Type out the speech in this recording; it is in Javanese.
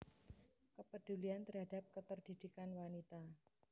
Kepedulian terhadap keterdidikan wanita